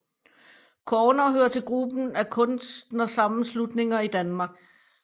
Corner hører til gruppen af kunstnersammenslutninger i Danmark